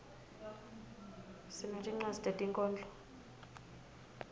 sinetincwadzi tetinkhondlo